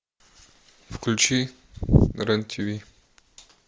включи рен тв